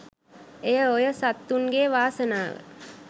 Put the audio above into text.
එය ඔය සත්තුන්ගේ වාසනාව